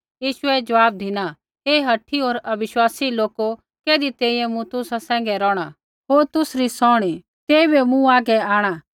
यीशुऐ ज़वाब धिना हे हठी होर अविश्वासी लोको कैधी तैंईंयैं मूँ तुसा सैंघै रोहणा होर तुसरी सौहणी तेइबै मूँ हागै आंणा